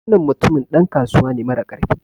Wannan mutumin dan kasuwa ne marakarfi